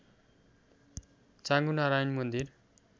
चाँगु नारायण मन्दिर